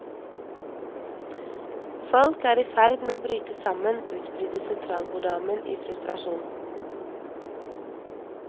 Folk er i ferd med å bryte sammen, utbryter sentralborddamen i frustrasjon.